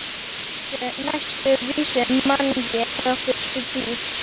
Næstu vísu man ég frá fyrstu tíð.